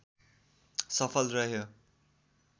सफल रह्यो